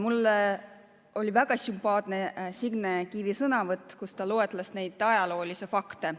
Mulle oli väga sümpaatne Signe Kivi sõnavõtt, kus ta loetles neid ajaloolisi fakte.